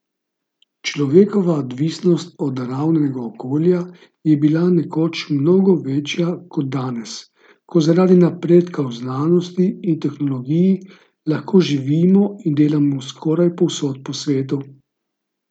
Človekova odvisnost od naravnega okolja je bila nekoč mnogo večja kot danes, ko zaradi napredka v znanosti in tehnologiji lahko živimo in delamo skoraj povsod po svetu.